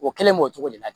O kelen b'o cogo de la